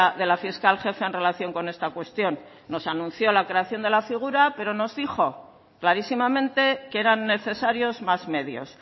de la fiscal jefe en relación con esta cuestión nos anunció la creación de la figura pero nos dijo clarísimamente que eran necesarios más medios